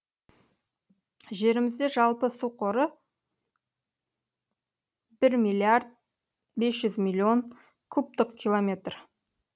жерімізде жалпы су қоры бір миллиард бес жүз миллион кубтық километр